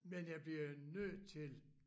Men jeg bliver nødt til